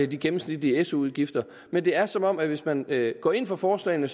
de gennemsnitlige su udgifter men det er som om at hvis man går ind for forslagene